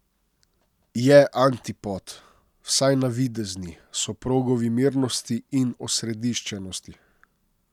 Je antipod, vsaj navidezni, soprogovi mirnosti in osrediščenosti.